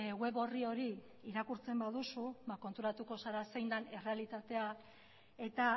web orri hori irakurtzen baduzu ba konturatuko zara zein den errealitatea eta